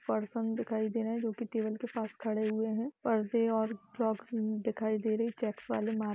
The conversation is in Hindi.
एक पर्सन दिखाय दे रहा है जो कि टेबल के पास खड़े हुए हैं। परदे और फ्रोक्स दिखाय दे रही है चेक्स वाले --